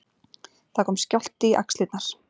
Það kom skjálfti í axlirnar.